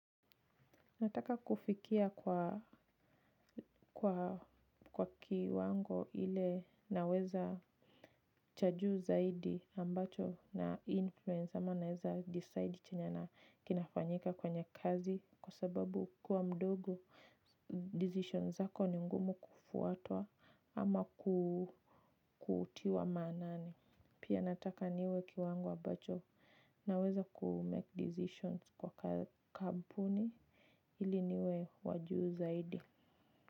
Nataka kufikia kwa kiwango ile naweza cha juu zaidi ambacho nainfluence ama naeza decide chenye kinafanyika kwenye kazi kwa sababu kuwa mdogo decisions zako ni ngumu kufuatwa ama kutiwa maanani. Pia nataka niwe kiwango ambacho naweza kumake decisions kwa kampuni ili niwe wa juu zaidi.